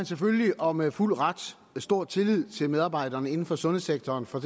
selvfølgelig og med fuld ret stor tillid til medarbejderne inden for sundhedssektoren for